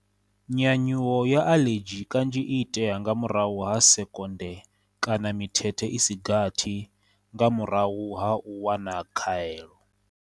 Nya nyuwo ya aḽedzhi kanzhi i itea nga murahu ha sekonde kana mithethe i si gathi nga murahu ha u wana khaelo.